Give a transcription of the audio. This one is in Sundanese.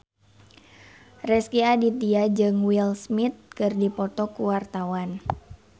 Rezky Aditya jeung Will Smith keur dipoto ku wartawan